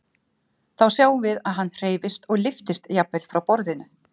Þá sjáum við að hann hreyfist og lyftist jafnvel frá borðinu.